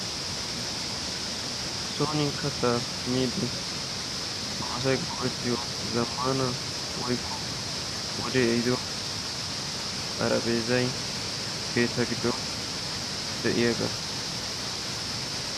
Sooni katta miide nu asay go'etiyaa wode ehiddo zammana woykko wode ehiddo xarapheezay keettaa giddon de'iyaaga.